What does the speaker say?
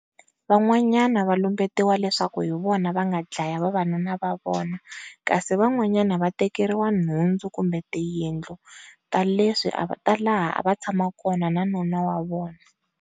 Van'wanyana va lumbetiwa leswaku hi vona va nga dlaya vavanuna va vona, kasi van'wanyana va tekeriwa nhundzu kumbe tiyindlu ta leswi ta laha a va tshama kona na nuna wa vona.